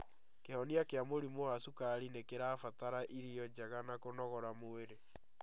Kĩhonia kĩa mũrimũ wa cukari nĩkĩrabatara irio njega na kũnogora mwĩrĩ